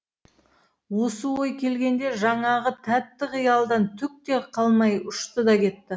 осы ой келгенде жаңағы тәтті қиялдан түк те қалмай ұшты да кетті